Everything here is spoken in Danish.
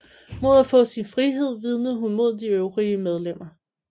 Mod at få sin frihed vidnede hun mod de øvrige medlemmer